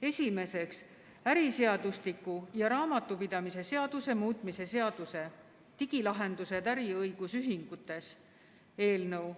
Esiteks, äriseadustiku ja raamatupidamise seaduse muutmise seaduse eelnõu.